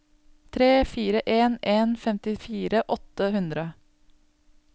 tre fire en en femtifire åtte hundre